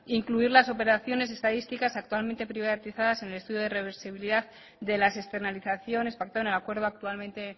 incluir las operaciones estadísticas actualmente privatizadas en despido de reversibilidad de las externalizaciones pactado en el acuerdo actualmente